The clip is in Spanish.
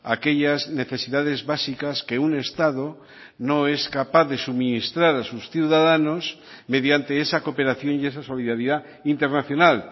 aquellas necesidades básicas que un estado no es capaz de suministrar a sus ciudadanos mediante esa cooperación y esa solidaridad internacional